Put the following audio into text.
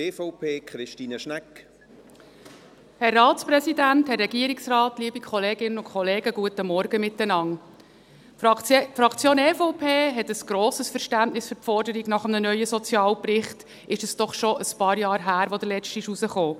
Die Fraktion EVP hat ein grosses Verständnis für die Forderung nach einem neuen Sozialbericht, ist es doch schon ein paar Jahre her, seit der letzte herauskam.